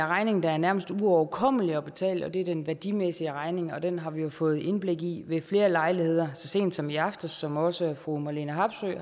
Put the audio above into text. regning der er nærmest uoverkommelig at betale og det er den værdimæssige regning og den har vi jo fået indblik i ved flere lejligheder og så sent som i aftes som også fru marlene harpsøe